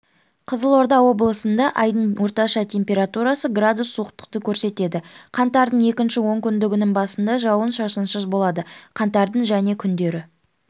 қызылорда облысында айдың орташа температурасы градус суықтықты көрсетеді қаңтардың екінші онкүндігінің басында жауын-шашынсыз болады қаңтардың және күндері